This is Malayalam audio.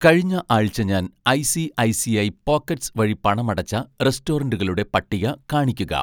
കഴിഞ്ഞ ആഴ്ച ഞാൻ ഐ.സി.ഐ.സി.ഐ പോക്കറ്റ്‌സ് വഴി പണം അടച്ച റെസ്റ്റോറൻറ്റുകളുടെ പട്ടിക കാണിക്കുക